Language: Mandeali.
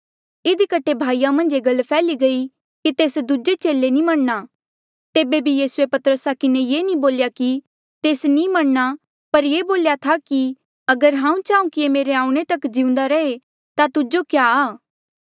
इधी कठे भाईया मन्झ ये गल फैल्ही गयी कि तेस दूजे चेले नी मरणा तेबे बी यीसूए पतरसा किन्हें ये नी बोल्या कि तेस नी मरणा पर ये बोलिरा था कि अगर हांऊँ चाहूँ कि ये मेरे आऊणें तक जिउंदा रहे ता तुजो क्या आ